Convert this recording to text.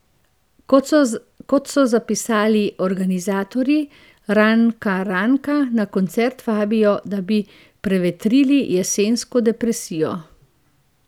Kot so zapisali organizatorji, Rnka Rnka na koncert vabijo, da bi prevetrili jesensko depresijo.